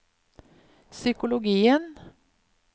psykologien